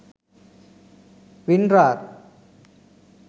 winrar